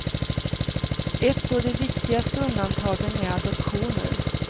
Ett av de viktigaste undantagen är adoptioner.